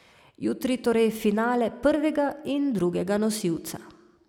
Jutri torej finale prvega in drugega nosilca.